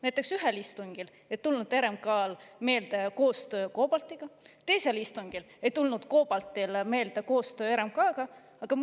Näiteks ühel istungil ei tulnud RMK meelde koostöö COBALT‑iga, teisel istungil ei tulnud COBALT‑i meelde koostöö RMK‑ga.